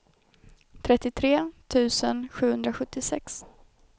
trettiotre tusen sjuhundrasjuttiosex